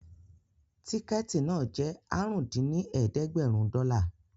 Tíkẹ̀ẹ̀tì náà jẹ́ àrún dín ní ẹ̀ẹ́dẹ́gbẹ́rún dọ́là